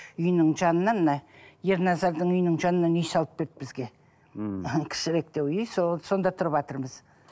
үйінің жанынан мына ерназардың үйінің жанынан үй салып берді бізге мхм кішіректеу үй сонда тұрватырмыз